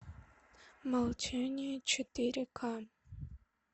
молчание четыре ка